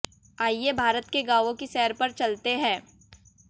आइए भारत के गांवों की सैर पर चलते हैं